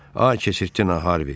A, keçirtdin Harvi.